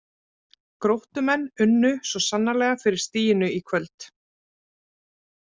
Gróttumenn unnu svo sannarlega fyrir stiginu í kvöld.